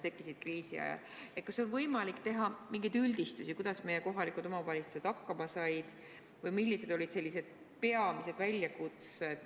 Kas teil on võimalik teha mingisuguseid üldistusi selle kohta, kuidas meie kohalikud omavalitsused hakkama said või millised olid nende peamised väljakutsed?